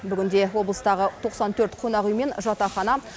бүгінде облыстағы тоқсан төрт қонақүй мен жатахана